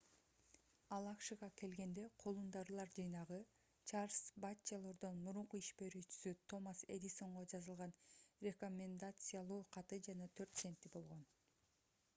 ал акшга келгенде колунда ырлар жыйнагы чарльз батчелордон мурунку иш берүүчүсү томас эдисонго жазылган рекомендациялоо каты жана 4 центи болгон